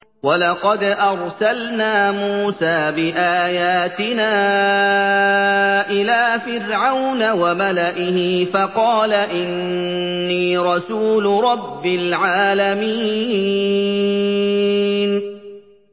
وَلَقَدْ أَرْسَلْنَا مُوسَىٰ بِآيَاتِنَا إِلَىٰ فِرْعَوْنَ وَمَلَئِهِ فَقَالَ إِنِّي رَسُولُ رَبِّ الْعَالَمِينَ